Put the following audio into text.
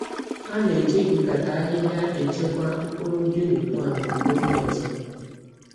Ha ka na-eji nkata ahịhịa echekwa mkpụrụ guinea corn maka oge ọzọ.